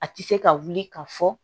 A tɛ se ka wuli ka fɔ